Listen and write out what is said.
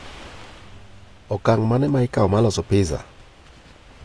okang mane ma ikaw mar loso pizza